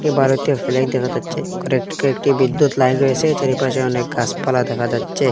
এবার ওতে দেখা যাচ্ছে একটি বিদ্যুৎ লাইন রয়েসে চারিপাশে অনেক গাসপালা দেখা যাচ্ছে।